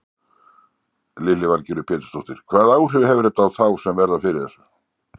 Lillý Valgerður Pétursdóttir: Hvaða áhrif hefur þetta á þá sem verða fyrir þessu?